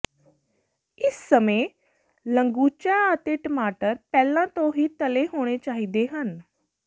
ਇਸ ਸਮੇਂ ਲੰਗੂਚਾ ਅਤੇ ਟਮਾਟਰ ਪਹਿਲਾਂ ਤੋਂ ਹੀ ਤਲੇ ਹੋਣੇ ਚਾਹੀਦੇ ਹਨ